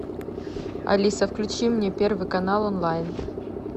алиса включи мне первый канал онлайн